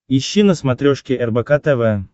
ищи на смотрешке рбк тв